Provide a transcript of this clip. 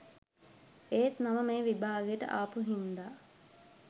ඒත් මම මේ විභාගයට ආපු හින්දා